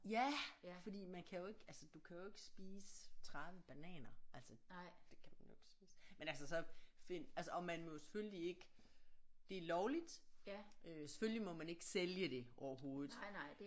Ja fordi man kan jo ikke altså du kan jo ikke spise 30 bananer altså det kan du jo ikke spise men altså så finder altså og man må jo selvfølgelig ikke det er lovligt øh selvfølgelig må man ikke sælge det overhovedet